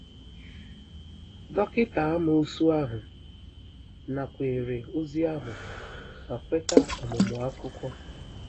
Dọkịta amoosu ahụ nakweere ozi ahụ ma kweta ọmụmụ akwụkwọ.